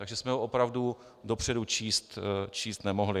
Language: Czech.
Takže jsme ho opravdu dopředu číst nemohli.